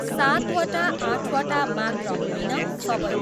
सातवटा आठवटा मात्र होइन, सबै।